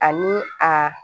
Ani a